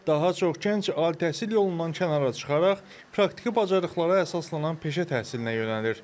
Daha çox gənc ali təhsil yolundan kənara çıxaraq praktiki bacarıqlara əsaslanan peşə təhsilinə yönəlir.